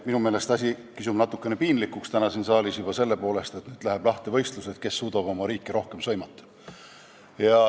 Minu meelest kisub asi täna siin saalis natuke piinlikuks juba selle poolest, et läheb võistluseks, kes suudab oma riiki rohkem sõimata.